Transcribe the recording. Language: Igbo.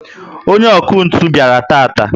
onye ọkụ ntụ bịara taata